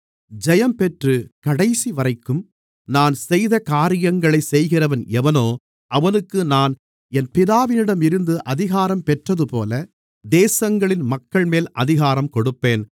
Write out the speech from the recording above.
ஜெயம்பெற்று கடைசிவரைக்கும் நான் செய்த காரியங்களைச் செய்கிறவன் எவனோ அவனுக்கு நான் என் பிதாவிடம் இருந்து அதிகாரம் பெற்றதுபோல தேசங்களின் மக்கள்மேல் அதிகாரம் கொடுப்பேன்